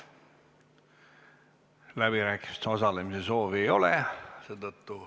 Läbirääkimistel osalemise soovi ei ole.